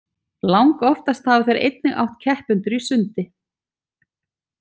Langoftast hafa þeir einnig átt keppendur í sundi.